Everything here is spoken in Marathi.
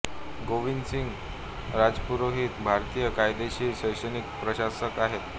गोविंद सिंग राजपुरोहित भारतीय कायदेशीर शैक्षणिक प्रशासक आहेत